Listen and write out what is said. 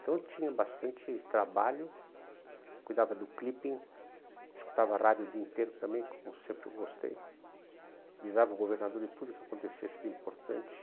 Então, eu tinha bastante trabalho, cuidava do clipping, escutava rádio o dia inteiro também, como sempre eu gostei, avisava o governador de tudo que acontecesse de importante.